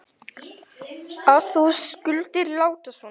að þú skulir láta svona.